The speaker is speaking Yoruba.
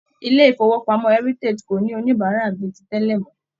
ilé ifowopamọ Heritage kò ní oníbárà bíi tí tẹlẹ mọ.